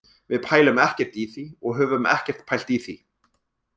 Við pælum ekkert í því og höfum ekkert pælt í því.